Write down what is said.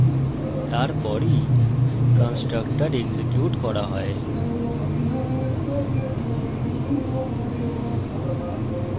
তারপরই constructor execute করা হয়